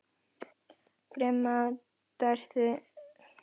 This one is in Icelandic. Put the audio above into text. Grimmdaræði styrjaldarinnar þegar í byrjun í algleymingi.